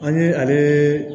An ye ale